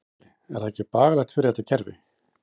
Gunnar Atli: Er það ekki bagalegt fyrir þetta kerfi?